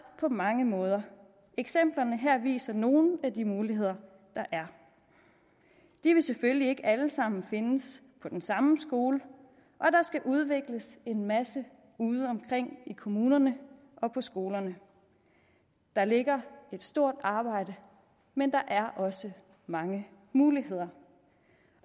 på mange måder eksemplerne her viser nogle af de muligheder der er de vil selvfølgelig ikke alle sammen findes på den samme skole og der skal udvikles en masse udeomkring i kommunerne og på skolerne der ligger et stort arbejde men der er også mange muligheder